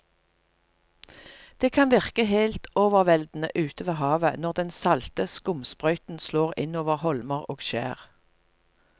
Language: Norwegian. Det kan virke helt overveldende ute ved havet når den salte skumsprøyten slår innover holmer og skjær.